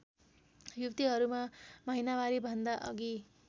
युवतीहरूमा महिनावारीभन्दा अघि